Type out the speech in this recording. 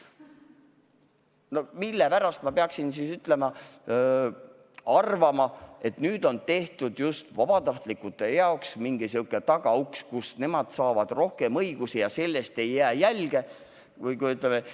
No millepärast ma peaksin arvama, et nüüd on just vabatahtlike jaoks tehtud mingisugune tagauks, mille kaudu nemad saavad rohkem õigusi ja sellest ei jää jälge?